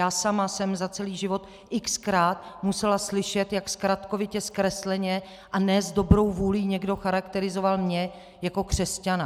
Já sama jsem za celý život x-krát musela slyšet, jak zkratkovitě, zkresleně a ne s dobrou vůlí někdo charakterizoval mě jako křesťana.